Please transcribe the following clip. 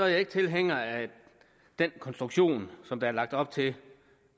jeg ikke tilhænger af den konstruktion som der er lagt op til